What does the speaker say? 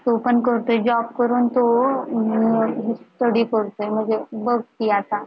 तो पण करतोय job करून तो अं study करतोय म्हणजे बघ कि आता